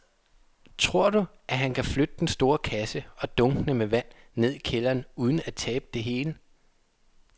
Tror du, at han kan flytte den store kasse og dunkene med vand ned i kælderen uden at tabe det hele?